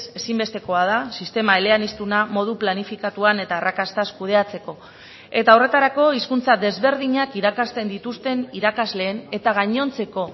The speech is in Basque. ezinbestekoa da sistema eleaniztuna modu planifikatuan eta arrakastaz kudeatzeko eta horretarako hizkuntza desberdinak irakasten dituzten irakasleen eta gainontzeko